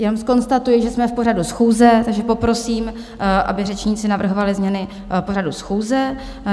Jenom zkonstatuji, že jsme v pořadu schůze, takže poprosím, aby řečníci navrhovali změny pořadu schůze.